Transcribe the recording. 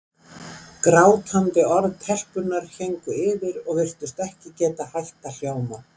Grátandi orð telpunnar héngu yfir og virtust ekki geta hætt að hljóma.